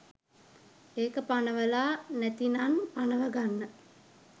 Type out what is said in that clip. ඒක පනවලා නැතිනන් පනව ගන්න